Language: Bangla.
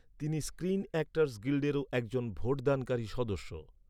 তিনি স্ক্রিন অ্যাক্টরস গিল্ডেরও একজন ভোটদানকারী সদস্য।